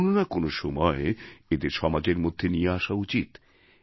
কোনো না কোনো সময় এঁদের সমাজের মধ্যে নিয়ে আসা উচিৎ